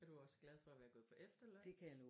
Er du også glad for at være gået på efterløn?